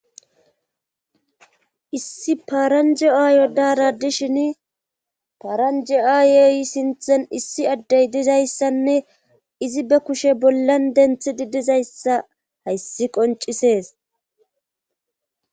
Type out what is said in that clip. Issi paranji'a yoddara dishin paranji'ayeey sinthen issi addey dizayssanne izi be kushe bollan denthi di dizayssa hayssi qoncisees.